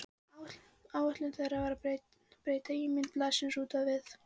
Ætlun þeirra var að breyta ímynd blaðsins út á við.